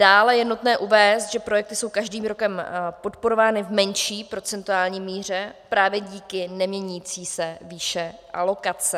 Dále je nutné uvést, že projekty jsou každým rokem podporovány v menší procentuální míře právě díky neměnící se výši alokace.